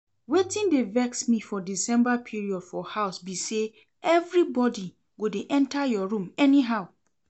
Wetin dey vex me for December period for house be say everybody go dey enter your room anyhow